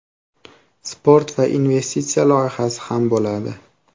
Sport va investitsiya loyihasi ham bo‘ladi.